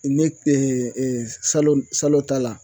Ne salon salon ta la